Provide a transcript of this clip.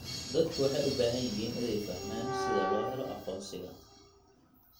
Dadku waxay u baahan yihiin inay fahmaan sida loo helo aqoonsiga.